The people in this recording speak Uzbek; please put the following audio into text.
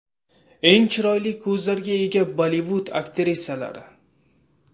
Eng chiroyli ko‘zlarga ega Bollivud aktrisalari .